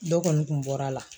Dɔ kɔni kun bɔra la.